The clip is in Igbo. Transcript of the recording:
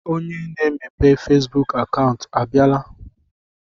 Onye na-emepe Fesbuk akaụntụ a bịala?